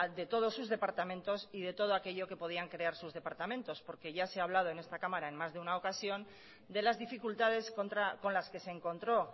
de todos sus departamentos y de todo aquello que podrían crear sus departamentos ya se ha hablado en esta cámara en más de una ocasión de las dificultades con las que se encontró